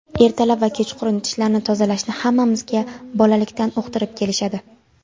Ertalab va kechqurun tishlarni tozalashni hammamizga bolalikdan uqtirib kelishadi.